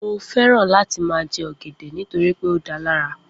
Mo fẹ́ràn láti má jè ọgẹdẹ nitoripe o da lara